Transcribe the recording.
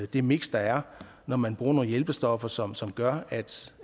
det miks der er når man bruger nogle hjælpestoffer som som gør